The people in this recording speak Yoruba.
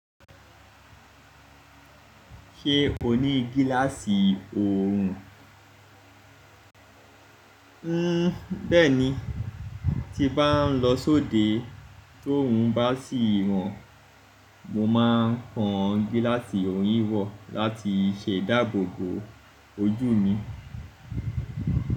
Ṣé o ní gíláàsì òòrùn? Bẹ́ẹ̀ni, tí bá ń lọ sóde tóorun bá sì ran, mo máa ń kan gíláàsì òòrùn wò láti ṣe ìdáàbòbò ojú mi.